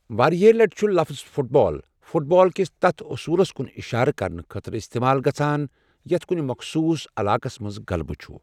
واریاہ لَٹہِ چُھ لَفٕظ 'فُٹ بال' فُٹ بال کِس تَتھ اصوٗلس کُن اِشارٕ کَرنہٕ خٲطرٕ اِستعمال گَژھان یتھ کُنہِ مَخصوٗص عَلاقَس مَنٛز غلبہٕ چھ۔